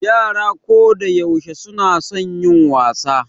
Yara kodayaushe suna son yin wasa.